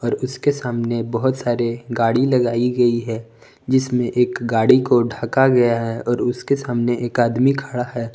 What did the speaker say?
और उसके सामने बहुत सारे गाड़ी लगाई गई है जिसमें एक गाड़ी को ढका गया है और उसके सामने एक आदमी खड़ा है।